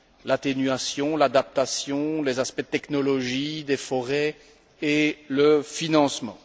l'atténuation, l'adaptation, les aspects de technologie des forêts et le financement.